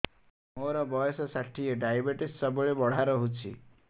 ମୋର ବର୍ଷ ଷାଠିଏ ଡାଏବେଟିସ ସବୁବେଳ ବଢ଼ା ରହୁଛି